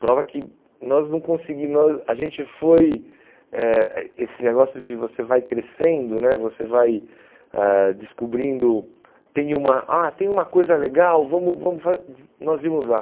Prova que nós não conseguimos... Nós A gente foi eh... Eh esse negócio de você vai crescendo né, você vai ãh descobrindo... Tem uma, ah, tem uma coisa legal, vamos vamos fazer... Nós nós íamos lá.